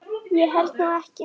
Ég held nú ekki.